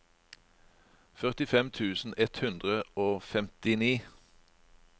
førtifem tusen ett hundre og femtini